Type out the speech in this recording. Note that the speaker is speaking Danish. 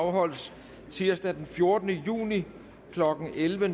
afholdes tirsdag den fjortende juni klokken elleve